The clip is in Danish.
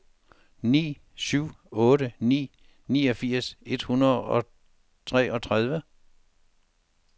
ni syv otte ni niogfirs et hundrede og treogtredive